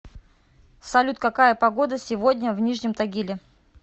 салют какая погода сегодня в нижнем тагиле